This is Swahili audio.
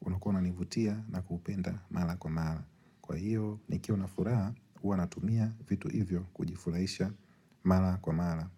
ulikuwa unanivutia na kupenda mara kwa mara Kwa hiyo nikiwa na furaha huwa natumia vitu hivyo kujifulahisha mala kwa mala.